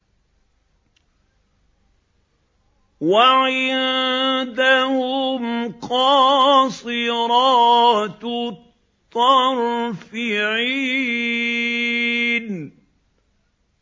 وَعِندَهُمْ قَاصِرَاتُ الطَّرْفِ عِينٌ